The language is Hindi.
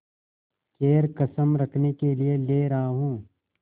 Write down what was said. खैर कसम रखने के लिए ले रहा हूँ